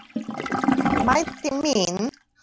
Matti minn.